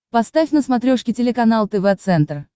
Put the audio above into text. поставь на смотрешке телеканал тв центр